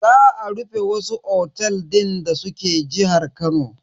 Za a rufe wasu otels din da suke jihar Kano.